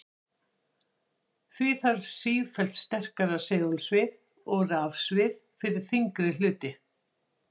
Því þarf sífellt sterkara segulsvið og rafsvið fyrir þyngri hluti.